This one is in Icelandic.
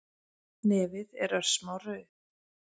Nefið er örsmá rauð